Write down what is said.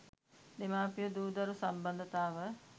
දෙමාපිය දූ දරු සම්බන්ධතාව